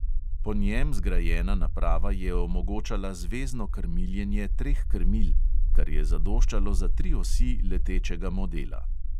Po njem zgrajena naprava je omogočala zvezno krmiljenje treh krmil, kar je zadoščalo za tri osi letečega modela.